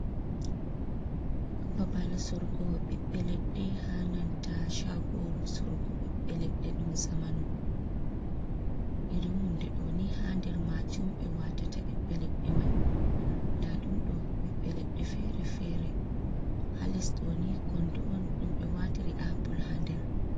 Babal sorgo ɓiɓbe leɗɗe hananta chagoru sorgo ɓiɓɓe leɗɗe e ɗum zamanu, irin hunde ɗo ni ha nder majum ɓe watata ɓiɓbe leɗɗe mai nda ɗum ɗo ɓiɓbe leɗɗe fere-fere ha lestoni kondo’on ɗumbe watiri apple ha nder.